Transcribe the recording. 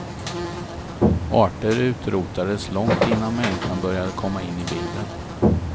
Arter utrotades långt innan människan började komma in i bilden.